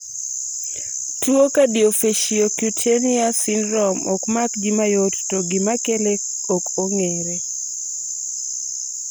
tuwo Cardiofaciocutaneous syndrome ok mak ji mayot to gimakele kok ong'ere